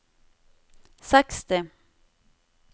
seksti